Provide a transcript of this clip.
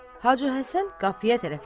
Hacı Həsən qapıya tərəf gedir.